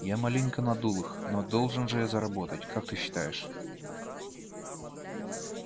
я маленько надул их но должен же я заработать как ты считаешь